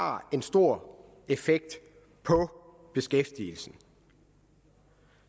har en stor effekt på beskæftigelsen